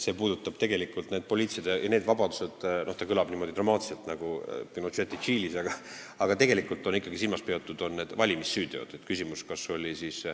See kõlab dramaatiliselt nagu Pinocheti Tšiilis, aga tegelikult on ikkagi silmas peetud valimissüütegusid.